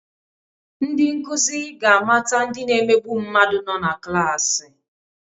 Ndị nkuzi ga-amata ndị na-emegbu mmadụ nọ na klaasị